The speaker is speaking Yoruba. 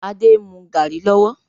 Adé ń mú garri lọ́wọ́